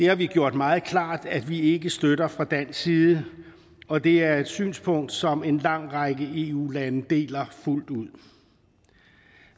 har vi gjort meget klart at vi ikke støtter fra dansk side og det er et synspunkt som en lang række eu lande deler fuldt ud